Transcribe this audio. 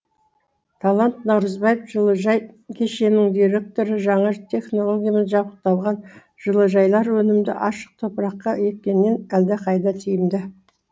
талант наурызбаев жылыжай кешенінің директоры жаңа технологиямен жабдықталған жылыжайлар өнімді ашық топыраққа еккеннен әлдеқайда тиімді